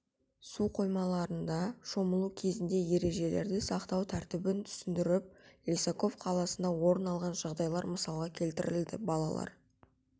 су қоймаларда шомылу кезінде ережелерді сақтау тәртібін түсіндіріп лисаков қаласында орын алған жағдайлар мысалға келтіріледі балалар